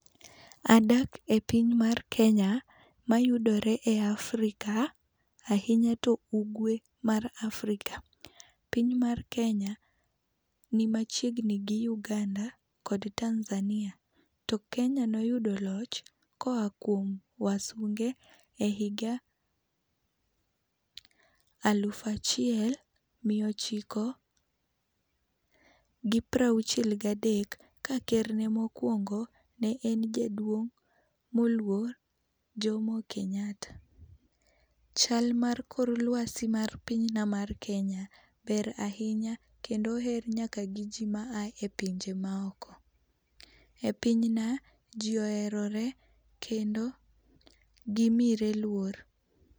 Adak e piny mar Kenya mayudore e Africa, ahinya to ugwe mar Africa. Piny mar Kenya ni machiegni gi Uganda kod Tanzania. To Kenya noyudo loch koa kuom wasunge ehiga alufu achiel miya ochiko gi piero auchiel ga dek, ka kerne mokuongo ne en jaduong' moluor Jomo Kenyatta. Chal mar kor luasi mar pinyna mar Kenya, ber ahinya kendo oher nyaka gi ji ma a epinje maoko. Epinyna ji oherore kendo gimire luor.